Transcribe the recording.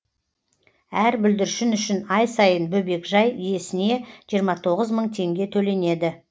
әр бүлдіршін үшін ай сайын бөбекжай иесіне жиырма тоғыз мың теңге төленеді